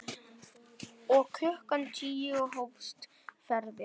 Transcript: Og klukkan tíu hófst ferðin.